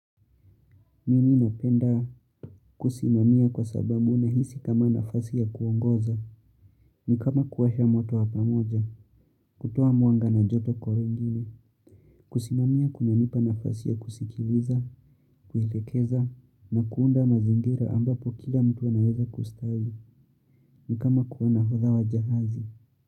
Mimi napenda kusimamia kwa sababu nahisi kama nafasi ya kuongoza, ni kama kuwasha moto wa pamoja, kutoa mwanga na joto kwa wengine, kusimamia kunanipa nafasi ya kusikiliza, kuelekeza, na kuunda mazingira ambapo kila mtu anaeza kustawi, ni kama kuwa nahodha wa jahazi.